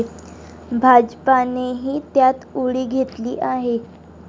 भाजपानेही त्यात उडी घेतली आहे.